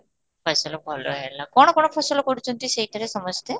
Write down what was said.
ଫସଲ ଭଲ ହେଲା, କ'ଣ କ'ଣ ଫସଲ କରୁଛନ୍ତି ସେଇଠିଥିରେ ସମସ୍ତେ?